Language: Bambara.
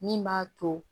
Min b'a to